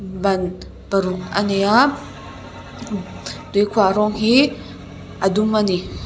ban paruk a nei a tuikhuah rawng hi a dum a ni.